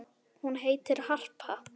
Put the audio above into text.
Hún heitir Harpa.